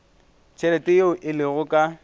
tšhelete yeo e lego ka